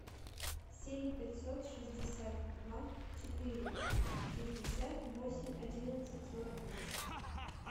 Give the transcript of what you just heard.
семь пятьсот шестьдесят два четыре шестьдесят восемь одиннадцать сорок два